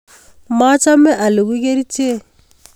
Machame alugui kerichek